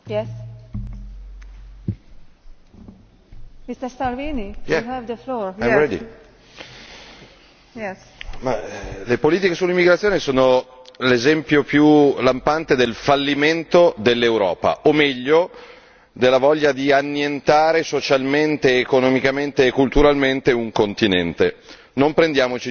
Signora Presidente, onorevoli colleghi, le politiche sull'immigrazione sono l'esempio più lampante del fallimento dell'Europa o, meglio, della voglia di annientare socialmente, economicamente e culturalmente un continente. Non prendiamoci in giro. Frontex, innanzitutto, dovrebbe controllare le frontiere europee.